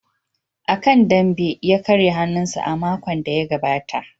A kan dambe ya karya hannunsa a makon da ya gabata.